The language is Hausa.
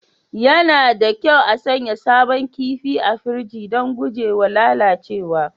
Yana da kyau a sanya sabon kifi a firiji don guje wa lalacewa